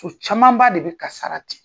camanba de bɛ kasara ten.